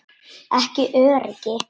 Ekki öryggi.